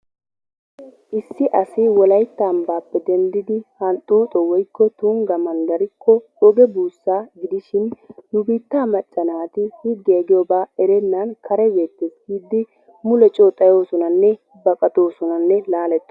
Issi asi wolaytta ambbaappe denddidi Hunxxoxo woykko Tungga manddarikko oge buussa gidishin nu biittaa macca naati higgee diyooga erennan kare beettees giidi mulee coo xayyoosonanne baqattoosonanne laalettoosona.